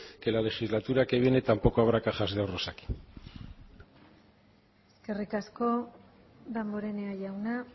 que en la legislatura que viene tampoco habrá cajas de ahorros aquí eskerrik asko danborenea jauna